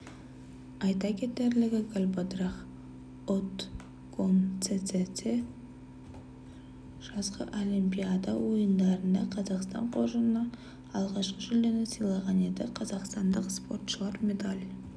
айта кетерлігі галбадрах отгонцэцэг жазғы олимпиада ойындарында қазақстан қоржынына алғашқы жүлдені сыйлаған еді қазақстандық спортшылар медаль